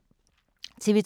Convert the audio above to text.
TV 2